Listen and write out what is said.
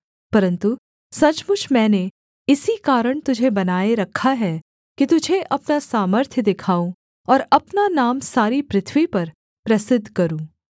परन्तु सचमुच मैंने इसी कारण तुझे बनाए रखा है कि तुझे अपना सामर्थ्य दिखाऊँ और अपना नाम सारी पृथ्वी पर प्रसिद्ध करूँ